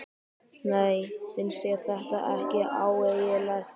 Nei, finnst þér þetta ekki ægilegt?